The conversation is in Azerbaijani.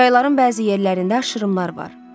Çayların bəzi yerlərində aşırımlar var.